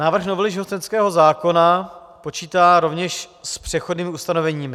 Návrh novely živnostenského zákona počítá rovněž s přechodnými ustanoveními.